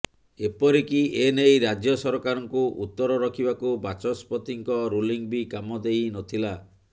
ଏପରିକି ଏନେଇ ରାଜ୍ୟସରକାରଙ୍କୁ ଉତ୍ତର ରଖିବାକୁ ବାଚସ୍ପତିଙ୍କ ରୁଲିଂ ବି କାମ ଦେଇ ନଥିଲା